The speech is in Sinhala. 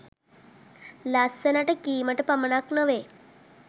ලස්සනට කීමට පමණක් නොවෙයි.